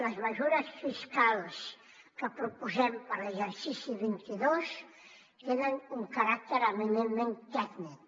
les mesures fiscals que proposem per a l’exercici vint dos tenen un caràcter eminentment tècnic